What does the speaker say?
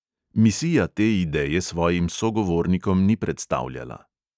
Misija te ideje svojim sogovornikom ni predstavljala.